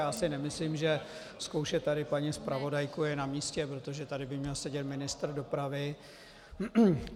Já si nemyslím, že zkoušet tady paní zpravodajku je na místě, protože tady by měl sedět ministr dopravy.